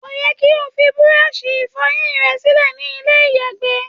Kò yẹ kí o ṣí búrọ́ọlṣì ìfọyín re sílẹ̀ ní ilé ìyàgbẹ́.